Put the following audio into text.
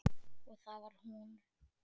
Og það var hún.